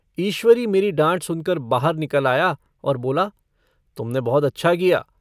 ईश्वरी मेरी डाँट सुनकर बाहर निकल आया और बोला तुमने बहुत अच्छा किया।